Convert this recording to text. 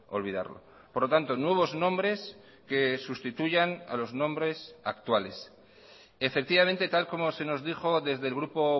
olvidarlo por lo tanto nuevos nombres que sustituyan a los nombres actuales efectivamente tal como se nos dijo desde el grupo